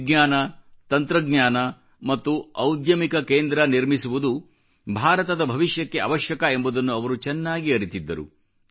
ವಿಜ್ಞಾನ ತಂತ್ರಜ್ಞಾನ ಮತ್ತು ಔದ್ಯಮಿಕ ಕೇಂದ್ರ ನಿರ್ಮಿಸುವುದು ಭಾರತದ ಭವಿಷ್ಯಕ್ಕೆ ಅವಶ್ಯಕ ಎಂಬುದನ್ನು ಅವರು ಚೆನ್ನಾಗಿ ಅರಿತಿದ್ದರು